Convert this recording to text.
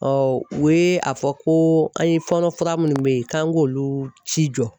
u ye a fɔ ko an ye fɔɔnɔ fura minnu bɛ ye k'an k'olu ci jɔ.